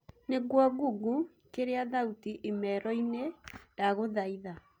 nigũo google kĩria thaũtĩ imero-ini ndagũthaĩtha